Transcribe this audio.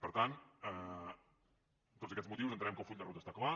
per tant per tots aquests motius entenem que el full de ruta està clar